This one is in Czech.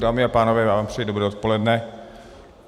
Dámy a pánové, já vám přeji dobré odpoledne.